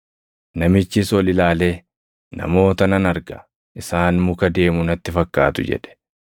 Namichis ol ilaalee, “Namoota nan arga; isaan muka deemu natti fakkaatu” jedhe.